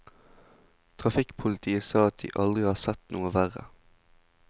Trafikkpolitiet sa at de aldri har sett noe verre.